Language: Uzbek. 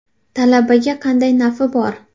Talabaga qanday nafi bor?